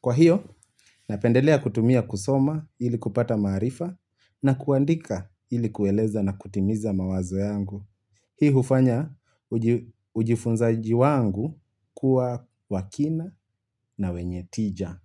Kwa hio, napendelea kutumia kusoma ili kupata maarifa na kuandika ili kueleza na kutimiza mawazo yangu. Hii hufanya ujifunzaji wangu kuwa wa kina na wenye tija.